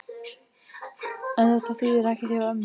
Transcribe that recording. En þetta þýðir ekkert hjá ömmu.